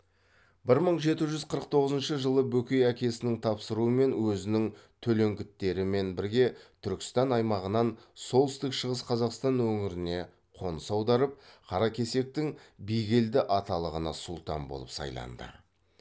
бір мың жеті жүз қырық тоғызыншы жылы бөкей әкесінің тапсыруымен өзінің төлеңгіттерімен бірге түркістан аймағынан солтүстік шығыс қазақстан өңіріне қоныс аударып қаракесектің бигелді аталығына сұлтан болып сайланды